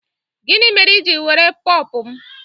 Gịnị mere i ji were Pọọpọ m?